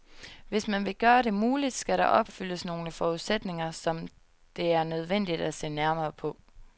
Hvis man vil gøre det muligt, skal der opfyldes nogle forudsætninger, som det er nødvendigt at se nærmere på.